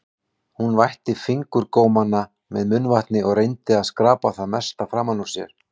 Hún vætti fingurgómana með munnvatni og reyndi að skrapa það mesta framan úr sér.